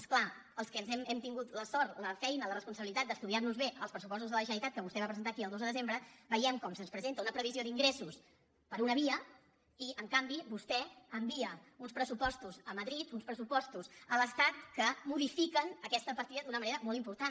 és clar els que hem tingut la sort la feina la responsabilitat d’estudiar nos bé els pressupostos de la generalitat que vostè va presentar aquí el dos de desembre veiem com se’ns presenta una previsió d’ingressos per una via i en canvi vostè envia uns pressupostos a madrid uns pressupostos a l’estat que modifiquen aquesta partida d’una manera molt important